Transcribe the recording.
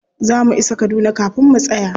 Za mu isa kaduna kafin mu tsaya.